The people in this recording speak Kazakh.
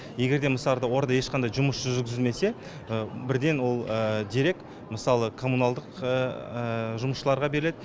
егер де ол арада ешқандай жұмыс жүргізілмесе бірден ол дерек мысалы коммуналдық жұмысшыларға беріледі